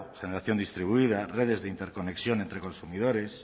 generación distribuida redes de interconexión entre consumidores